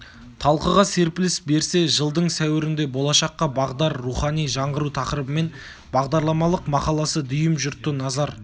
талқыға серпіліс берсе жылдың сәуірінде болашаққа бағдар рухани жаңғыру тақырыбымен бағдарламалық мақаласы дүйім жұртты назар